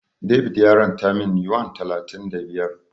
David ya ranta min Yuan talatin da biyar.